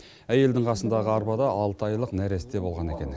әйелдің қасындағы арбада алты айлық нәресте болған екен